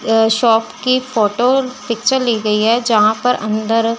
यह शॉप की photo picture ली गई है जहां पर अंदर--